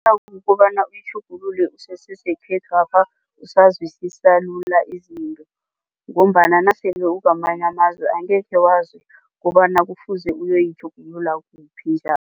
kobana uyitjhugululele usesesekhethwapha usazwisisa lula izinto ngombana nasele ukwamanye amazwe angekhe wazi kobana kufuze uyoyitjhugulula kuphi